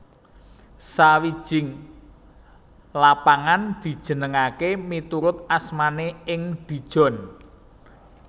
Sawijing lapangan dijenengaké miturut asmané ing Dijon